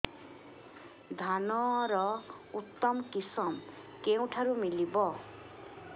ଧାନର ଉତ୍ତମ କିଶମ କେଉଁଠାରୁ ମିଳିବ